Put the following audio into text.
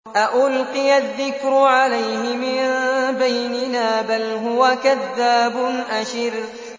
أَأُلْقِيَ الذِّكْرُ عَلَيْهِ مِن بَيْنِنَا بَلْ هُوَ كَذَّابٌ أَشِرٌ